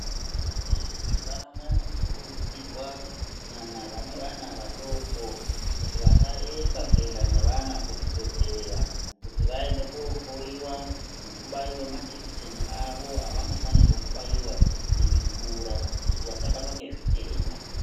Vana mai vanonyanya kukurudzirwa kunyanya vane vana vadoko kuti vasaremba kuyenda nevana kuzvibhedhlera kuti vayende kohloyiwa nekubayiwa majekiseni avo avanofanirwa kubayiwa veikura kuti vasabatwa ngezvitenda.